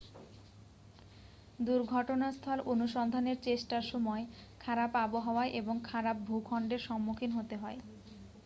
দুর্ঘটনাস্থল অনুসন্ধানের চেষ্টার সময় খারাপ আবহাওয়া এবং খারাপ ভূখণ্ডের সম্মুখীন হতে হয়